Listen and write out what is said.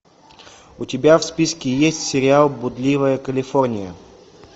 у тебя в списке есть сериал блудливая калифорния